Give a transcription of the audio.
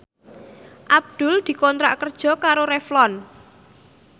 Abdul dikontrak kerja karo Revlon